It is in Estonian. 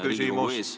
Palun küsimust!